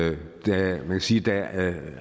man kan sige at da